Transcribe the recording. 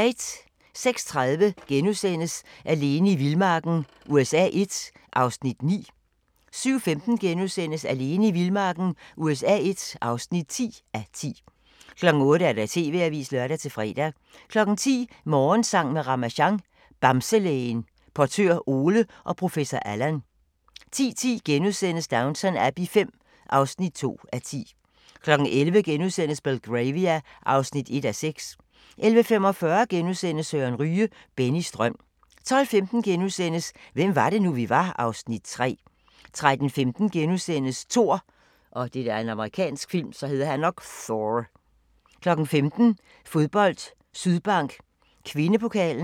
06:30: Alene i vildmarken USA I (9:10)* 07:15: Alene i vildmarken USA I (10:10)* 08:00: TV-avisen (lør-fre) 10:00: Morgensang med Ramasjang | Bamselægen, Portør Ole og Professor Allan 10:10: Downton Abbey V (2:10)* 11:00: Belgravia (1:6)* 11:45: Søren Ryge - Bennys drøm * 12:15: Hvem var det nu, vi var (Afs. 3)* 13:15: Thor * 15:00: Fodbold: Sydbank Kvindepokalen